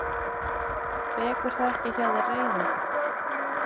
Vekur það ekki hjá þér reiði?